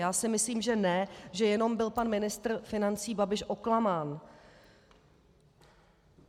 Já si myslím, že ne, že jenom byl pan ministr financí Babiš oklamán.